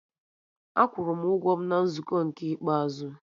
Akwụrụ m ụgwọ m na nzukọ nke ikpeazụ